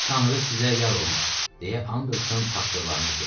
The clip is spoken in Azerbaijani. Tanrı sizə yar olmaq, deyə Anderson tapşırıqlarını bitirdi.